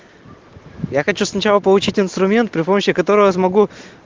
я хочу сначала получить инструмент при помощи которого смогу